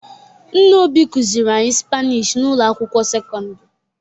Nne Obi kụziri anyị Spanishi n'ụlọ akwụkwọ sekondịri.